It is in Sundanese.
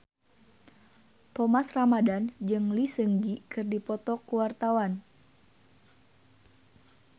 Thomas Ramdhan jeung Lee Seung Gi keur dipoto ku wartawan